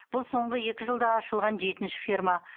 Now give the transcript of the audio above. бұл соңғы екі жылда ашылған жетінші ферма